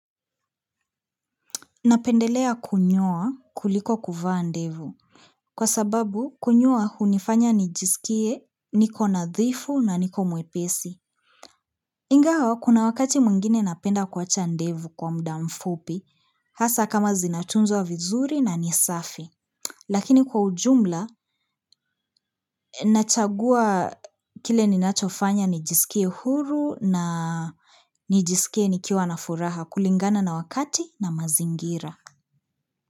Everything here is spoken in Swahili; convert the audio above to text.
Napendelea kunyoa kuliko kuvaa ndevu. Kwa sababu kunyoa hunifanya nijisikie niko nadhifu na niko mwepesi. Ingawa, kuna wakati mwingine napenda kuacha ndevu kwa muda mfupi, hasa kama zinatunzwa vizuri na ni safi. Lakini kwa ujumla, nachagua kile ninachofanya nijisikie huru na nijisikie nikiwa na furaha kulingana na wakati na mazingira.